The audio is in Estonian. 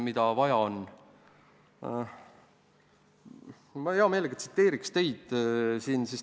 Ma hea meelega tsiteeriks teid.